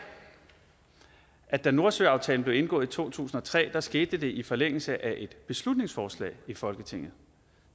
at det da nordsøaftalen blev indgået i to tusind og tre skete i forlængelse af et beslutningsforslag i folketinget